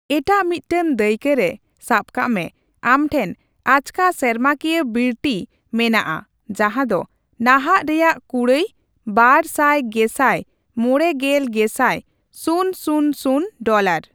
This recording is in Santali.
ᱮᱴᱟᱜ ᱢᱤᱫᱴᱟᱝ ᱫᱟᱹᱭᱠᱟᱹᱨᱮ, ᱥᱟᱵ ᱠᱟᱜᱢᱮ, ᱟᱢᱴᱷᱮᱱ ᱟᱪᱠᱟ ᱥᱮᱨᱢᱟ ᱠᱤᱭᱟᱹ ᱵᱤᱨᱴᱴᱤ ᱢᱮᱱᱟᱜᱼᱟ ᱡᱟᱦᱟ ᱫᱚ ᱱᱟᱦᱟᱜ ᱨᱮᱭᱟᱜ ᱠᱩᱲᱟᱹᱭ ᱵᱟᱨ ᱥᱟᱭ ᱜᱮᱥᱟᱭ ᱢᱚᱲᱮ ᱜᱮᱞ ᱜᱮᱥᱟᱭ ᱥᱩᱱ ᱥᱩᱱ ᱥᱩᱱ ᱰᱚᱞᱟᱨ ᱾